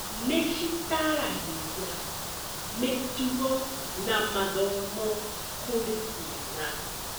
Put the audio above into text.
Nĩ citaragĩria mĩtugo na mathomo kũrĩ ciana.